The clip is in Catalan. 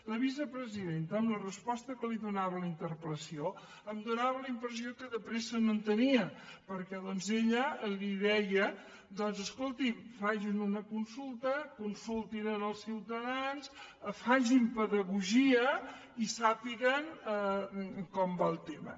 la vicepresidenta amb la resposta que li donava a la interpel·lació em donava la impressió que de pressa no en tenia perquè doncs ella li deia escolti’m facin una consulta consultin els ciutadans facin pedagogia i sàpiguen com va el tema